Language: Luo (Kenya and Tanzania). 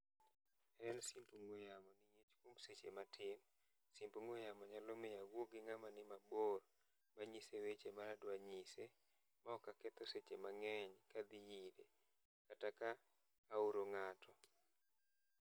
en simb ong'ue yamo e seche matin, simb ong'ue yamo nyalo miyo awuo gi ng'ama ni mabor manyise weche ma adwa nyise ma ok aketho seche mang'eny kadhi ire kata ka aoro ng'ato.